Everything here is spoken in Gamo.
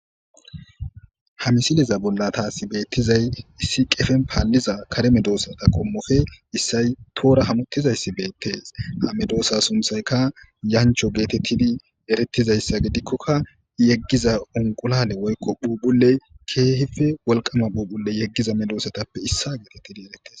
Ha misileza bollan taasi beettizay issi qepen paalliza kare medosata qommope issay tohora hamutizayssi beettes. Ha medosa sunththaykka yanchcho geetettidi eretizayssa gidikoka yeggiza unqulaale woykko phuuphulley keehippe wolqama phuuphulle yeggiza medosatappe issa geetettidi eretes.